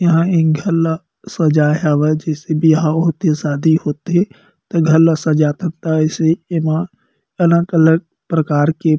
इहा एक घर ला सजाय हावे जिसे बिहाव होथे शादी होथे त घर ला सजात थत त अइसे एमा अलग-अलग प्रकार के--